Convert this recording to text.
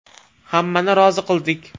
Hammani rozi qildik.